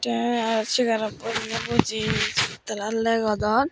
tay chair rot buji nay buji Tala laygodond.